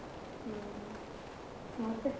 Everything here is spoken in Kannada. ಹ್ಮ್, ಮತ್ತೇ?